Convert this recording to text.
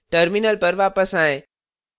terminal पर वापस आएँ